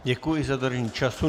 Děkuji za dodržení času.